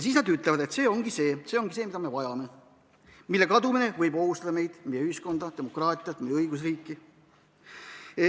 Siis nad ütlevadki, et see ongi see, mida me vajame ning mille kadumine võib ohustada meid, meie ühiskonda, demokraatiat, meie õigusriiki.